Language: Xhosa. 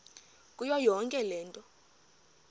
kuyo yonke loo